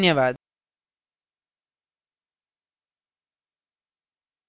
धन्यवाद